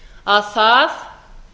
að það